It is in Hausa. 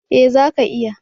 Eh, zaka iya.